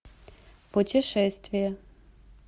путешествие